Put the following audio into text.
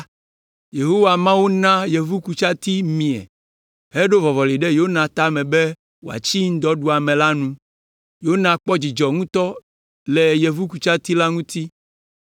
Yehowa, Mawu na yevukutsati mie heɖo vɔvɔli ɖe Yona tame be wòatsi ŋudɔɖuame la nu. Yona kpɔ dzidzɔ ŋutɔ le yevukutsati la ŋuti.